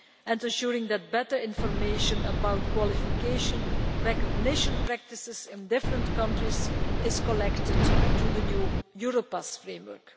and assuring that better information about qualification recognition practices in different countries is collected through the new Europass framework.